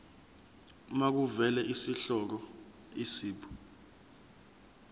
makuvele isihloko isib